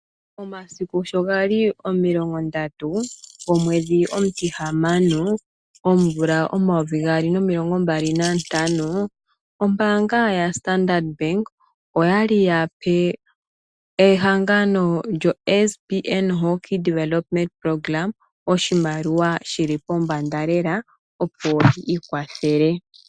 Omasiku sho gali omilongo ndatu, omwedhi omutihamano, omvula omayovi gaali nomilongombali nantano, ombaanga yoStandard Bank okwali ya pe ehangano lyoSBN Hockey Development Programme oshimaliwa shili pombanda leela opo yi ikwathele.